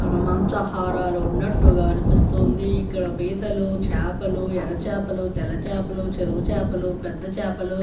ఆ మాంసాహారాలు ఉన్నట్టుగా అనిపిస్తుంది. ఇక్కడ పీతలు చేపలు ఎర్ర చేపలు తెల చేపలు చెరువు చేపలు పెద్ద చేపలు --